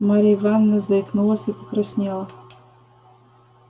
марья ивановна заикнулась и покраснела